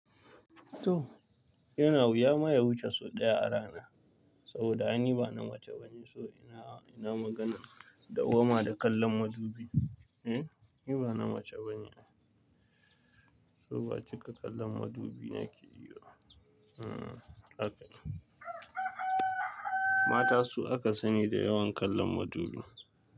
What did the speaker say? To yana wuya ma ya wuce sau ɗaya a rana, saboda ni ba na mace bane so ina, ina magana da ma da kallon madubi. Hm, ni ba na mace bane. So ba cika kallon madubi nake yi ba. Hm haka. Mata su aka sani da yawan kallon madubi.